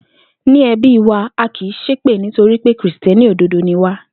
Ní e̩bí wa, a kì í s̩épè nítorí pé Kìrìsté̩nì òdodo ni wá